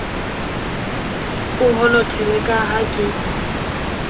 o honothele ka ha ke